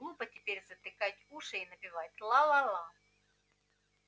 глупо теперь затыкать уши и напевать ла ла ла